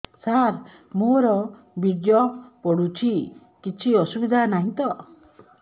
ସାର ମୋର ବୀର୍ଯ୍ୟ ପଡୁଛି କିଛି ଅସୁବିଧା ନାହିଁ ତ